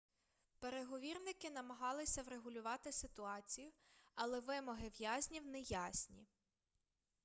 переговірники намагалися врегулювати ситуацію але вимоги в'язнів неясні